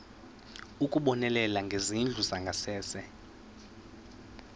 ukubonelela ngezindlu zangasese